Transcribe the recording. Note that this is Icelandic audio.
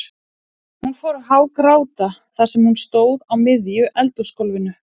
Hún fór að hágráta þar sem hún stóð á miðju eldhúsgólfinu.